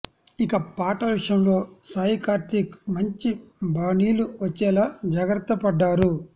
ఇక పాటల విషయంలో సాయికార్తీక్ మంచి బాణీలు వచ్చేలా జాగ్రత్త పడ్డారు